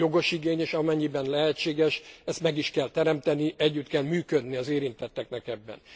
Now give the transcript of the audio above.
Jogos igény, és amennyiben lehetséges, ezt meg is kell teremteni, együtt kell működni az érintetteknek ebben.